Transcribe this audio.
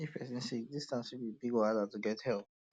if person sick um distance fit be big wahala to get help